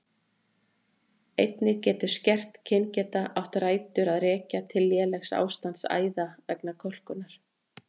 Einnig getur skert kyngeta átt rætur að rekja til lélegs ástands æða vegna kölkunar.